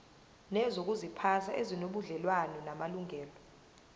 nezokuziphatha ezinobudlelwano namalungelo